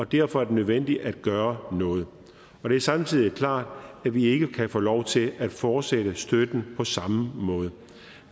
derfor er det nødvendigt at gøre noget og det er samtidig klart at vi ikke kan få lov til at fortsætte støtten på samme måde